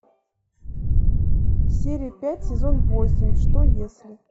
серия пять сезон восемь что если